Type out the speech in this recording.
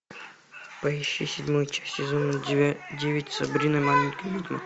поищи седьмую часть сезона девять сабрина маленькая ведьма